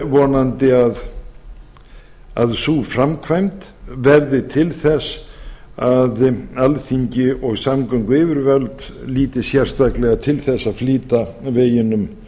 er vonandi að sú framkvæmd verði til þess að alþingi og samgönguyfirvöld líti sérstaklega til þess að flýta veginum